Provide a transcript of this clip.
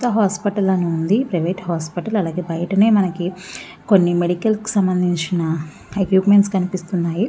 విజేత హాస్పిటల్ అని ఉంది. ప్రైవేట్ హాస్పిటల్ అలాగే బయటనే మనకి కొన్ని మెడికల్ కి సంబంధించిన ఎక్విప్మెంట్స్ కనిపిస్తున్నాయి.